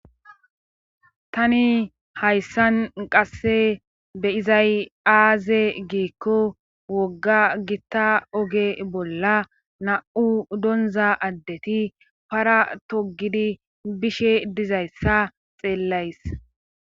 Tani hayssan qassi be7izay aaze giikko wogga gitta oge bolla naa7u donzza addeti paraa toggidi bishe dizayssa xeellays.